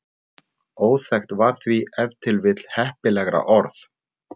Óþekkt var því ef til heppilegra orð.